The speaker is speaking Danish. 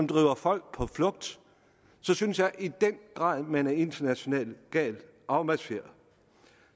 driver folk på flugt så synes jeg i den grad at man er internationalt galt afmarcheret